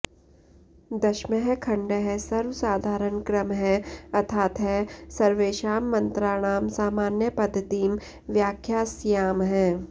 दशमः खण्डः सर्वसाधारणक्रमः अथातः सर्वेषां मन्त्राणां सामान्यपद्धतिं व्याख्यास्यामः